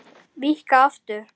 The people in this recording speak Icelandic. Víkka aftur.